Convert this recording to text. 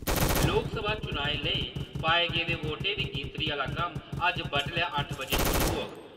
लोकसभा चुनाएं लेई पाए गेदे वोटें दी गिनतरी आह्ला कम्म कल बड्डलै अट्ठ बजे शुरू होग।